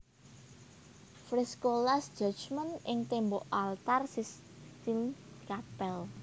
Fresko Last Judgement ing tembok altar Sistine Chapel